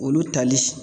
Olu tali